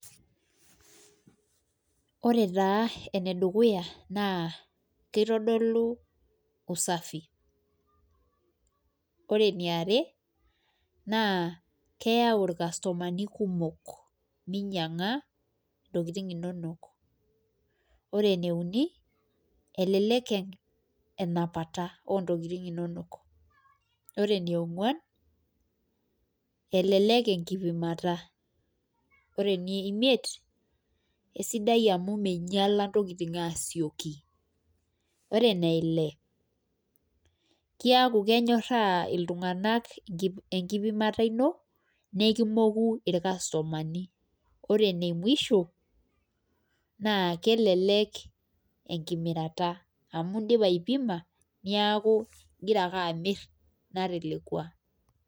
Ore taa ene dukuya naa kitodolu usafi. ore eniare, naa keyau ilkastomani kumok minyianga ntokitin inonok. ore eneiuni, elelek enapata oo ntokitin inonok. ore enionguan, elelek enkipimata. ore enie imiet, esidai amu mingiala ntokitin asioki. ore ene Ile keeku, kenyoraa iltunganak enkipimata ino. nikinyoraa ilkastomani. ore ene musho. naa kelelek, enkimirata, amu idipa aipima, neeku, igira ake amir tenatelekua